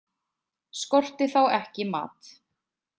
Skorti þá ekki mat.